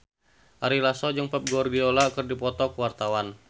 Ari Lasso jeung Pep Guardiola keur dipoto ku wartawan